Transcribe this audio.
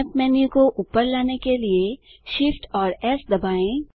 snap menu को ऊपर लाने के लिए Shift और एस दबाएँ